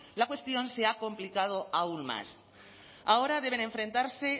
la cuestión se ha complicado aún más ahora deben enfrentarse